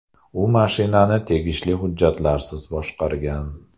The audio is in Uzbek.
U mashinani tegishli hujjatlarsiz boshqargan.